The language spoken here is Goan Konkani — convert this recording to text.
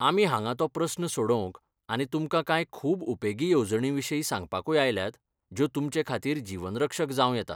आमी हांगा तो प्रस्न सोडोवंकआनी तुमकां कांय खूब उपेगी येवजणींविशीं सांगपाकूय आयल्यात, ज्यो तुमचेखातीर जीवनरक्षक जावं येतात.